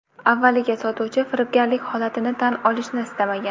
Avvaliga sotuvchi firibgarlik holatini tan olishni istamagan.